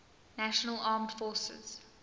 national armed forces